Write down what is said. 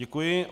Děkuji.